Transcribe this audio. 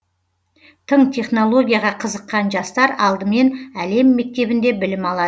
тың технологияға қызыққан жастар алдымен әлем мектебінде білім алады